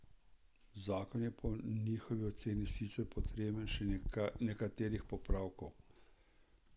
Zakon je po njihovi oceni sicer potreben še nekaterih popravkov.